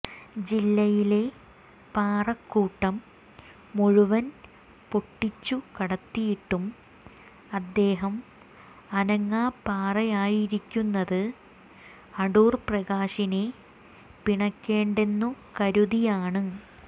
ജില്ലയിലെ പാറക്കുട്ടം മുഴുവൻ പൊട്ടിച്ചുകടത്തിയിട്ടും അദ്ദേഹം അനങ്ങാപ്പാറയായിരിക്കുന്നത് അടൂർ പ്രകാശിനെ പിണക്കേണ്ടെന്നു കരുതിയാണ്